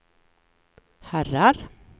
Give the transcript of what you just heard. herrar